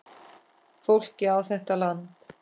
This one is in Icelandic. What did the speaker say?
Fólkið á þetta land.